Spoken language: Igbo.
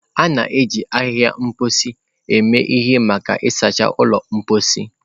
A na-eji ahịhịa mposi eme ihe maka ịsacha ụlọ mposi.